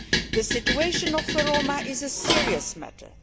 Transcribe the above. The situation of the Roma is a serious matter.